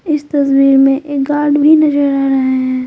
इस तस्वीर में एक गार्ड भी नजर आ रहा है।